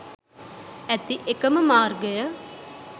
ඇති එකම මාර්ගය